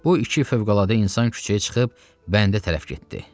Bu iki fövqəladə insan küçəyə çıxıb bəndə tərəf getdi.